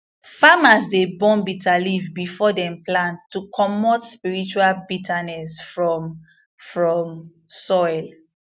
farmers dey burn bitterleaf before dem plant to comot spiritual bitterness from from soil